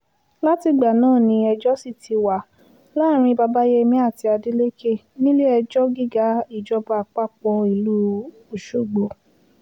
látìgbà náà ni ẹjọ́ sì ti wà láàrin babayémi àti adeleke nílé-ẹjọ́ gíga ìjọba àpapọ̀ ìlú ọ̀ṣọ́gbó